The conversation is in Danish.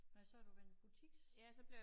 Nåh så har du været butiks